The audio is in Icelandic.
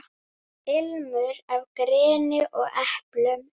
Þetta er bláköld alvara.